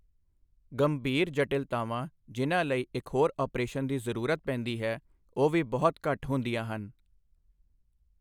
ਗੰਭੀਰ ਜਟਿਲਤਾਵਾਂ ਜਿਨ੍ਹਾਂ ਲਈ ਇੱਕ ਹੋਰ ਅਪਰੇਸ਼ਨ ਦੀ ਜ਼ਰੂਰਤ ਪੈਂਦੀ ਹੈ, ਉਹ ਵੀ ਬਹੁਤ ਘੱਟ ਹੁੰਦੀਆਂ ਹਨ।